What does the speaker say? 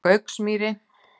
Gauksmýri